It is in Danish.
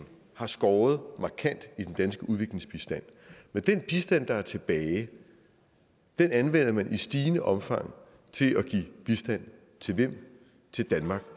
har skåret markant i den danske udviklingsbistand men den bistand der er tilbage anvender man i stigende omfang til at give bistand til hvem til danmark